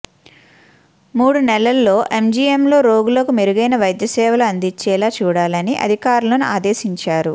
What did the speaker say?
మూడు నెలల్లో ఎంజీఎంలో రోగులకు మెరుగైన వైద్య సేవలు అందించేలా చూడాలని అధికారులను ఆదేశించారు